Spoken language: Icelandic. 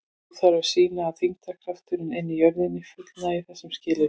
Nú þarf að sýna að þyngdarkrafturinn inni í jörðinni fullnægi þessum skilyrðum.